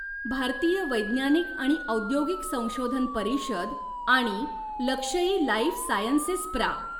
भारतीय वैज्ञानिक आणि औद्योगिक संशोधन परिषद आणि लक्षई लाइफ सायन्सेस प्रा.